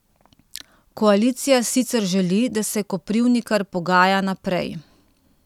Koalicija sicer želi, da se Koprivnikar pogaja naprej.